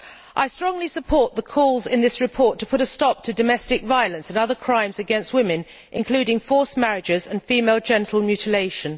I strongly support the calls in this report to put a stop to domestic violence and other crimes against women, including forced marriages and female genital mutilation.